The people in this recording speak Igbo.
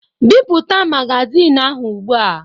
Bipụta magazin ahụ ugbu a!